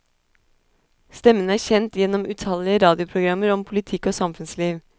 Stemmen er kjent gjennom utallige radioprogrammer om politikk og samfunnsliv.